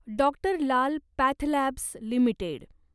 doctor Lal pathlabs limited